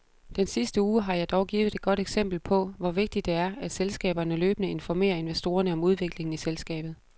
Den sidste uge har dog givet et godt eksempel på, hvor vigtigt det er, at selskaberne løbende informerer investorerne om udviklingen i selskabet.